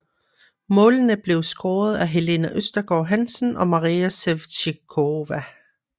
Målene blev scoret af Helene Østergaard Hansen og Maria Sevcikova